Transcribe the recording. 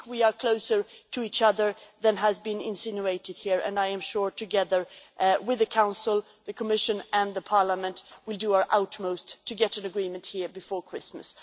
We are closer to each other than has been insinuated here, and I am sure that together with the Council, the Commission and Parliament we will do our utmost to get an agreement here before Christmas.